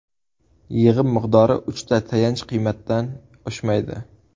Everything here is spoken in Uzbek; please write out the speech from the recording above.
Yig‘im miqdori uchta tayanch qiymatdan oshmaydi.